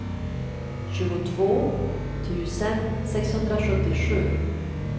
tjugotvå tusen sexhundrasjuttiosju